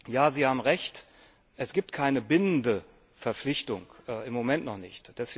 Ja, Sie haben Recht Es gibt keine bindende Verpflichtung im Moment noch nicht.